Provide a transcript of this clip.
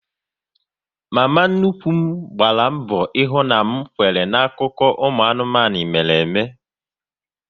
Mama nnukwu m gbara mbọ ihu na m kwere n'akụkọ anụmanụ mere ime